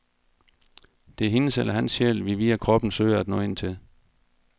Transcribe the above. Det er hendes eller hans sjæl, vi via kroppen søger at nå ind til.